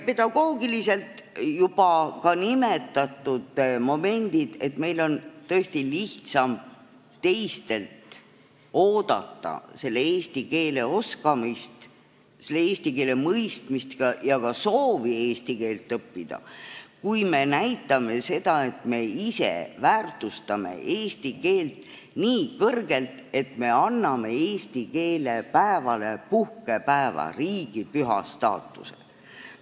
Pedagoogilises mõttes toon välja juba nimetatud momendid, et meil on tõesti lihtsam teistelt oodata eesti keele oskamist, selle keele mõistmist ja ka soovi eesti keelt õppida, kui me näitame seda, et me ise väärtustame eesti keelt nii kõrgelt, et me anname eesti keele päevale puhkepäeva, riigipüha staatuse.